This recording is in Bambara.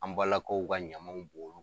An balakaw ka ɲamaw